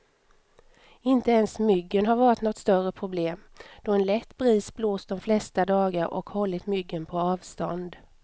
Inte ens myggen har varit något större problem, då en lätt bris blåst de flesta dagar och hållit myggen på avstånd.